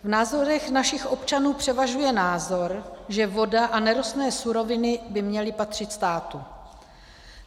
V názorech našich občanů převažuje názor, že voda a nerostné suroviny by měly patřit státu.